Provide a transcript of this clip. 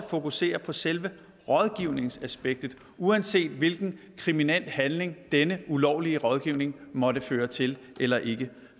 fokusere på selve rådgivningsaspektet uanset hvilken kriminel handling denne ulovlige rådgivning måtte føre til eller ikke